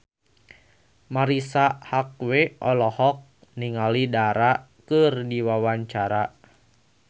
Marisa Haque olohok ningali Dara keur diwawancara